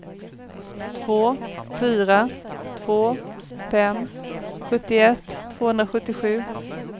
två fyra två fem sjuttioett tvåhundrasjuttiosju